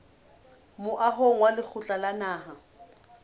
moahong wa lekgotla la naha